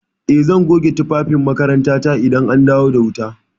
Eh, zan goge tufafin makarantata idan an dawo da wuta.